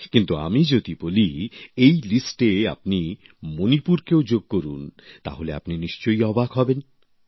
কিন্তু আমি যদি বলি এই লিস্টে আপনি মনিপুরকেও যোগ করুন তাহলে আপনি নিশ্চয়ই অবাক হবেন